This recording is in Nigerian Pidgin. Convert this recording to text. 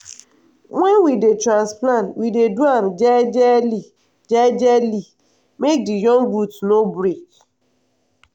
wen we dey transplant we dey do am jejely jejely make the young root no break.